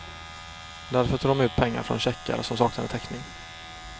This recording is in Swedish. Därför tog de ut pengar från checkar som saknade täckning.